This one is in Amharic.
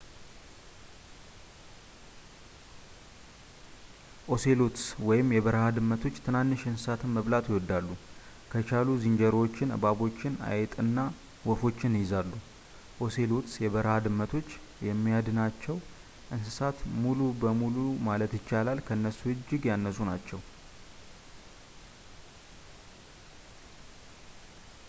ኦሴሎትስ/የበረሃ ድመቶች ትናንሽ እንስሳትን መብላት ይወዳሉ። ከቻሉ ዝንጀሮዎችን ፣ እባቦችን ፣ አይጥና ወፎችን ይይዛሉ። ኦሴሎትስ/የበረሃ ድመቶች የሚያድናቸው እንስሳት በሙሉ ማለት ይቻላል ከእነሱ እጅግ ያነሱ ናቸው